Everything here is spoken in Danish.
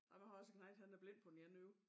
Ej der har jeg også en knejt han er blind på det ene øje